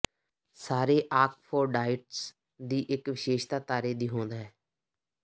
ਸਾਰੇ ਆਕਫੋਰਡਾਈਟਸ ਦੀ ਇਕ ਵਿਸ਼ੇਸ਼ਤਾ ਤਾਰੇ ਦੀ ਹੋਂਦ ਹੈ